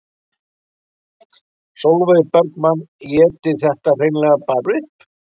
Sólveig Bergmann: Éti þetta hreinlega bara upp?